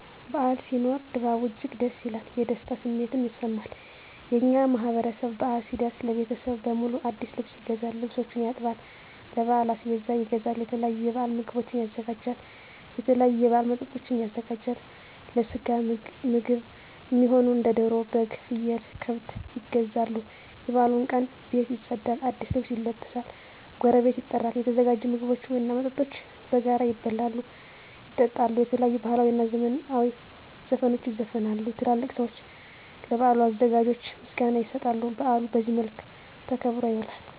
በዓል ሲኖር ድባቡ እጅግ ደስ ይላል። የደስታ ስሜትም ይሰማል። የእኛ ማህበረሰብ በአል ሲደርስ ለቤተሰብ በሙሉ አዲስ ልብስ ይገዛል፤ ልብሶችን ያጥባል፤ ለበዓል አስቤዛ ይገዛል፤ የተለያዩ የበዓል ምግቦችን ያዘጋጃል፤ የተለያዩ የበዓል መጠጦችን ያዘጋጃል፤ ለስጋ ምግብ እሚሆኑ እንደ ደሮ፤ በግ፤ ፍየል፤ ከብት ይገዛሉ፤ የበዓሉ ቀን ቤት ይፀዳል፤ አዲስ ልብስ ይለበሳል፤ ጎረቤት ይጠራል፤ የተዘጋጁ ምግቦች እና መጠጦች በጋራ ይበላሉ፤ ይጠጣሉ፤ የተለያዩ ባህላዊ እና ዘመናዊ ዘፈኖች ይዘፈናሉ፤ ትላልቅ ሰዊች ለበዓሉ አዘጋጆች ምስጋና ይሰጣሉ፤ በአሉ በዚህ መልክ ተከብሮ ይውላል።